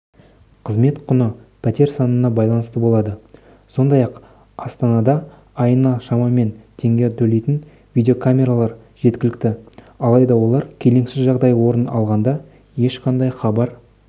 қызмет құны пәтер санына байланысты болады сондай-ақ астанадаайына шамамен теңге төлейтін видеокамералар жеткілікті алайда олар келеңсіз жағдай орын алғанда ешқайда хабар